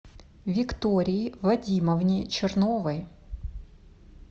виктории вадимовне черновой